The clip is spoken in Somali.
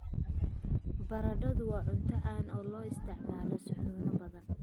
Baradhadu waa cunto caan ah oo loo isticmaalo suxuuno badan.